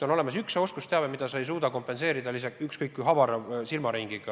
On olemas oskusteave, mida sa ei suuda kompenseerida ükskõik kui avara silmaringiga.